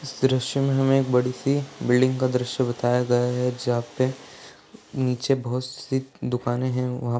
इस दृश्य हमे एक बडी सी बिल्डिंग का दृश्य बताया गया है। जहा पे नीचे बहुत सी दुकाने हैं। वहा--